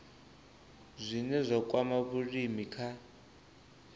zwine zwa kwama vhulimi kha